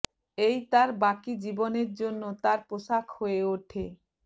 এই তার জীবনের বাকি জন্য তার পোশাক হয়ে ওঠে